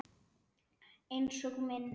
Einsog minn.